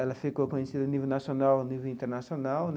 Ela ficou conhecida a nível nacional nível internacional né.